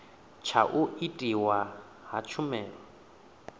tsha u itwa ha tshumelo